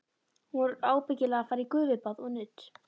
Hún var ábyggilega að fara í gufubað og nudd.